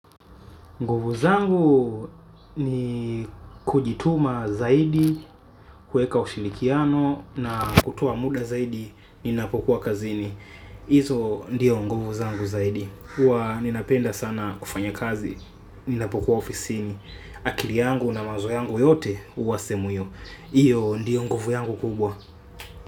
Nguvu zangu ni kujituma zaidi kuweka ushirikiano na kutoa muda zaidi ninapokuwa kazini. Izo ndiyo nguvu zangu zaidi. Kuwa ninapenda sana kufanya kazi ninapokuwa ofisini. Akili yangu na mawazo yangu yote huwa sehemu hiyo. Iyo ndiyo ngovu yangu kubwa.